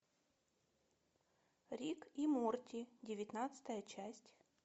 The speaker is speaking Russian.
рик и морти девятнадцатая часть